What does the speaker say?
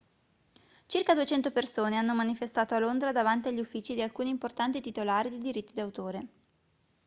circa 200 persone hanno manifestato a londra davanti agli uffici di alcuni importanti titolari di diritti d'autore